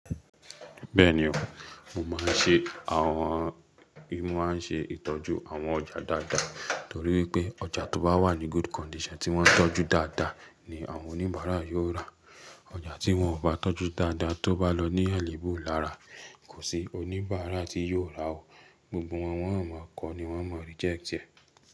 Bẹ́ẹ̀ni o, mo máa ń ṣe, àwọn mo máa ń ṣe ìtọ́jú àwọn ọjà dáadáa. Torí wipé ọjà tó bá wà ní good condition tí wọ́n tọ́jú dáadáa ni àwọn oníbàárà yóò rà. Ọjà tí wọ́n ò bá tọ́jú dáadáa tó bá lọ ní àléébù lára, kò sí oníbàárà tí yóò rà ó. Gbogbo wọn, wọ́n a máa kọ́ ni wọ́n máa reject ẹ.